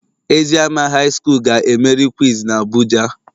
Eziama high school ga emeri quiz na abuja.